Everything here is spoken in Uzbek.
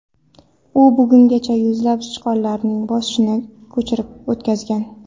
U bungacha yuzlab sichqonlarning boshini ko‘chirib o‘tkazgan.